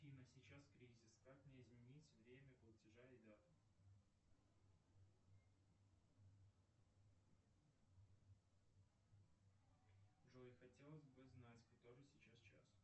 афина сейчас кризис как мне изменить время платежа и дату джой хотелось бы знать который сейчас час